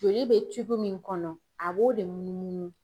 Joli be cibi min kɔnɔ a b'o de munu munu